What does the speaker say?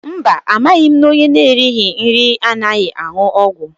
Mba amaghị m na ọnye n'erighi nri adịghị aṅụ ọgwụ.